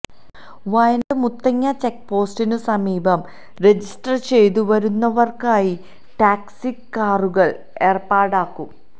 വയനാട് മുത്തങ്ങ ചെക്പോസ്റ്റിനു സമീപം രജിസ്റ്റർ ചെയ്തു വരുന്നവർക്കായി ടാക്സി കാറുകൾ ഏർപ്പാടാക്കും